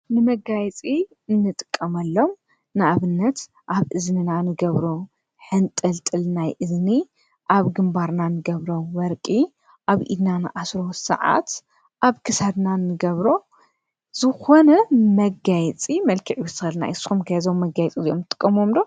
ንመጋየፂ ንጥቀመሎም ንኣብነት ኣብ እዝንና እንገብሮም ሕንጥልጥል ናይ እዝኒ ኣብ ግንባርና ንገብሮም ወርቂ ኣብ ኢድና ንኣስሮ ሰዓት ኣብ ክሳድና ንገብሮ ዝኮነ መጋየፂ መልክዕ ይዉስከልና እዩ። ንስኩም ከ እዞም መጋየፂ እዚኦም ትጥቀምሎም ዶ ?